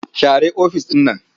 Share ofis ɗin.